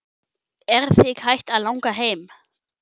Er þig hætt að langa heim?